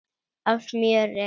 af smjöri.